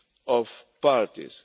of parties.